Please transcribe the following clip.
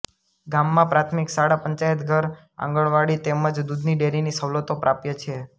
ગામમાં પ્રાથમિક શાળા પંચાયતઘર આંગણવાડી તેમ જ દુધની ડેરીની સવલતો પ્રાપ્ય છે